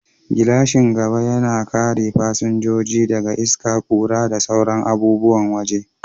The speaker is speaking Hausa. Gilashin gaba yana kare fasinjoji daga iska, ƙura, da sauran abubuwan waje.